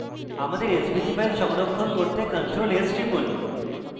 আমাদের svg file সংরক্ষণ করতে ctrl + s টিপুন